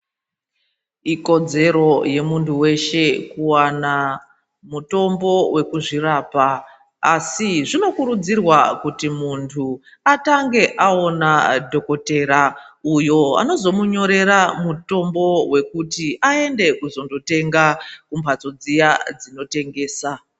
Ikodzero yemuntu weshe kuwana mutombo wekuzvirapa. Asi zvinokurudzirwa kuti muntu atange awona dhokodhera uyu anozomunyorera mutombo wekuti aende kuzonotenga kumbatso dziya dzinotengesa.